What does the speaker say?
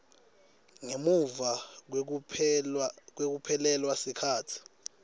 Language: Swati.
ngemuva kwekuphelelwa sikhatsi